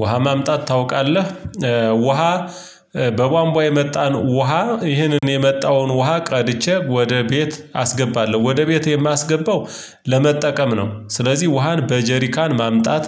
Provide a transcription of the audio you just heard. ውሃ ማምጣት ታውቃለህ ውሃ በቧንቧ የመጣን ውሃ ይህንን የመጣውን ውሃ ቀድቼ ወደ ቤት አስገባለሁ ወደ ቤት የማስገባው ለመጠቀም ነው ስለዚህ ውሃን በጀሪካን ማምጣት